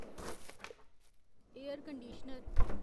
air conditioner